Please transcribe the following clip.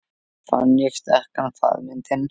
Fann ég sterkan faðminn þinn.